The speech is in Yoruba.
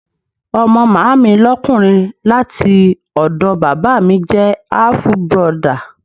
Ọmọ Màámi lókùnrin láti ọ̀dọ̀ Bàbá míì jẹ́ àfù burọdà.